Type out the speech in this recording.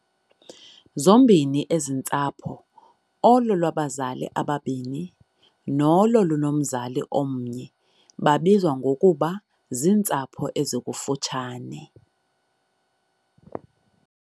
Zombini ezi ntsapho "olwabazali bobabini" nolo"lunomzali omnye" babizwa ngokuba ziintsapho "ezikufutshane".